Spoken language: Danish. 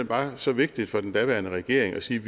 bare så vigtigt for den daværende regering at sige